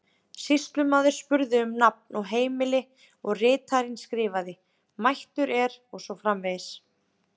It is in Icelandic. Sýslumaður spurði um nafn og heimili og ritarinn skrifaði: mættur er og svo framvegis.